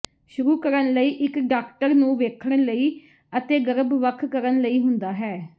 ਸ਼ੁਰੂ ਕਰਨ ਲਈ ਇੱਕ ਡਾਕਟਰ ਨੂੰ ਵੇਖਣ ਲਈ ਅਤੇ ਗਰਭ ਵੱਖ ਕਰਨ ਲਈ ਹੁੰਦਾ ਹੈ